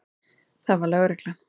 Það var lögreglan.